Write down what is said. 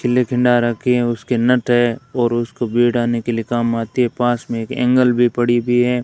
रखी है उसके नट और उसको भी के लिए काम आती है पास में एक एंगल भी पड़ी है।